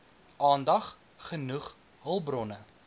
aandag genoeg hulpbronne